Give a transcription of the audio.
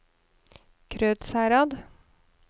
Krødsherad